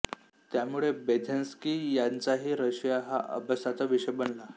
त्यामुळे ब्रेझिन्स्की यांचाही रशिया हा अभ्यासाचा विषय बनला